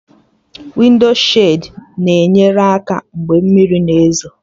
Wịndshid na-enye aka mgbe mmiri na ezo